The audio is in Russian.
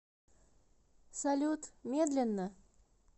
салют медленно